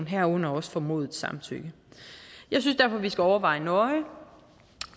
herunder også formodet samtykke jeg synes derfor vi skal overveje nøje